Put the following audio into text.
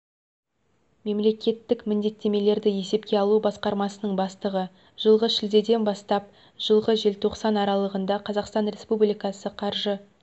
мемлекеттік міндеттемелерді есепке алу басқармасының бастығы жылғы шілдеден бастап жылғы желтоқсан аралығында қазақстан республикасы қаржы